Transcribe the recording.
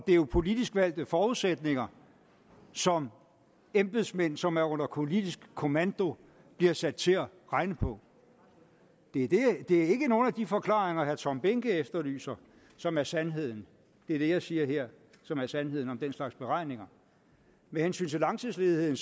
er jo politisk valgte forudsætninger som embedsmænd som er under politisk kommando bliver sat til at regne på det er ikke nogen af de forklaringer herre tom behnke efterlyser som er sandheden det er det jeg siger her som er sandheden om den slags beregninger med hensyn til langtidsledigheden